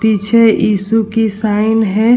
पीछे ईशु की साइन है।